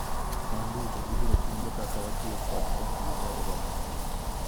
wan duto ibiro puonjwa kaka watiyo kod komputa e romo no